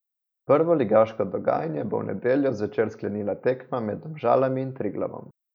Prvoligaško dogajanje bo v nedeljo zvečer sklenila tekma med Domžalami in Triglavom.